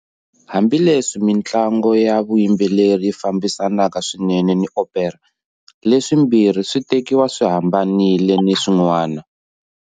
Hambileswi mintlango ya vuyimbeleri yi fambisanaka swinene ni opera, leswimbirhi swi tekiwa swi hambanile ni swin'wana.